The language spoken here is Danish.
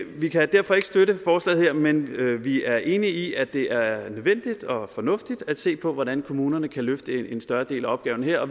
vi kan derfor ikke støtte forslaget her men vi er enige i at det er er nødvendigt og fornuftigt at se på hvordan kommunerne kan løfte en større del af opgaven her